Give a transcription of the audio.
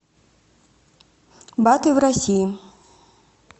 баты в россии